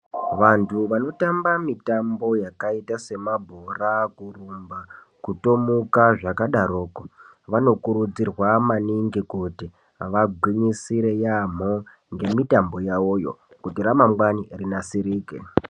Vanthu vanotamba mitambo yakaita semabhora kurumba kutomuka zvakadaro ko vanokurudzirwa maningi kuti vagwisire yamho nemutambo yavoyo kuitira ramangwani rinasirike.